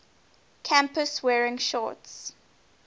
campus wearing shorts